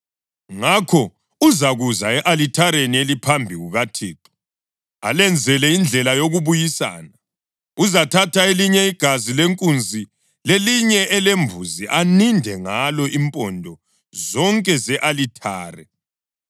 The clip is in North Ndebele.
Ngakho uzakuza e-alithareni eliphambi kukaThixo, alenzele indlela yokubuyisana. Uzathatha elinye igazi lenkunzi lelinye elembuzi, aninde ngalo impondo zonke ze-alithare.